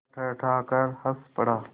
वह ठठाकर हँस पड़ा